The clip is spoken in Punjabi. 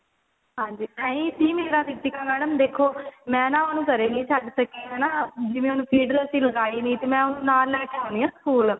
ਹਾਂਜੀ ਇਹੀ ਸੀ ਮੇਰਾ ਵੀ ਰੀਤਿਕਾ madam ਦੇਖੋ ਮੈਂ ਨਾ ਉਹਨੂੰ ਘਰੇ ਨਹੀ ਛੱਡ ਸਕੀ ਹਨਾ ਜਿਵੇਂ feed ਤਾਂ ਅਸੀਂ ਲਗਾਈ ਨਹੀਂ ਤੇ ਮੈ ਉਹਨੂੰ ਨਾਲ ਲੈਕੇ ਆਉਨੀ ਆ ਸਕੂਲ